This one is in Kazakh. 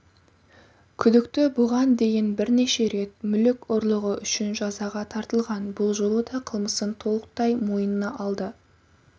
күдікті бұған дейін бірнеше рет мүлік ұрлығы үшін жазаға тартылған бұл жолы да қылмысын толықтаймойнына алды